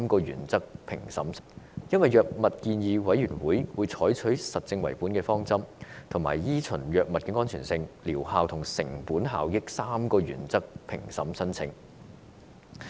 因為，藥物建議委員會採取實證為本的方針，以及依循藥物安全性、療效和成本效益3個原則評審申請。